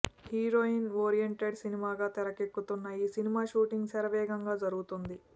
heroine oriented సినిమాగా తెరకెక్కుతున్న ఈ సినిమా షూటింగ్ శరవేగంగా జరుగుతోంది